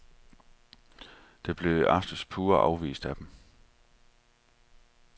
Det blev i aftes pure afvist af dem.